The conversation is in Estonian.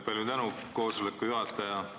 Palju tänu, koosoleku juhataja!